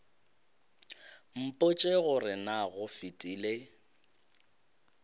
mpotše gore na go fetile